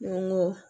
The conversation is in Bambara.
N ko n ko